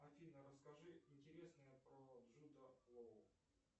афина расскажи интересное про джуда лоу